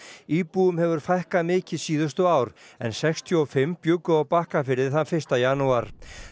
íbúum hefur fækkað mikið síðustu ár en sextíu og fimm bjuggu á Bakkafirði þann fyrsta janúar